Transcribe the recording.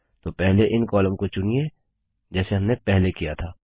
तो पहले इन कॉलम को चुनिए जैसे हमने पहले किया था